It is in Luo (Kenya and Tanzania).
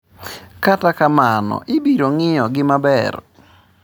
Kata kamano, ibiro ng’iyogi maber.